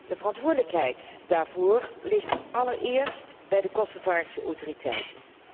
De verantwoordelijkheid daarvoor ligt allereerst bij de Kosovaarse autoriteiten.